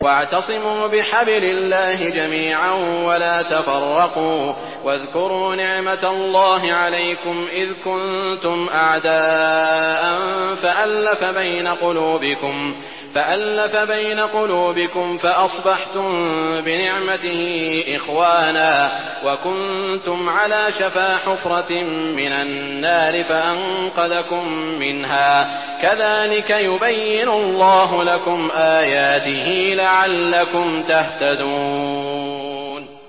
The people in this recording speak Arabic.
وَاعْتَصِمُوا بِحَبْلِ اللَّهِ جَمِيعًا وَلَا تَفَرَّقُوا ۚ وَاذْكُرُوا نِعْمَتَ اللَّهِ عَلَيْكُمْ إِذْ كُنتُمْ أَعْدَاءً فَأَلَّفَ بَيْنَ قُلُوبِكُمْ فَأَصْبَحْتُم بِنِعْمَتِهِ إِخْوَانًا وَكُنتُمْ عَلَىٰ شَفَا حُفْرَةٍ مِّنَ النَّارِ فَأَنقَذَكُم مِّنْهَا ۗ كَذَٰلِكَ يُبَيِّنُ اللَّهُ لَكُمْ آيَاتِهِ لَعَلَّكُمْ تَهْتَدُونَ